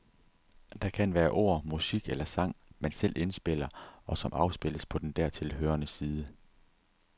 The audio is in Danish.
Der kan være ord, musik eller sang, man selv indspiller, og som afspilles på den dertil hørende side.